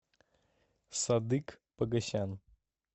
садык погасян